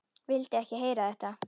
Vildi ekki heyra þetta!